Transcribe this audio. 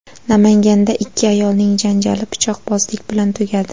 Namanganda ikki ayolning janjali pichoqbozlik bilan tugadi.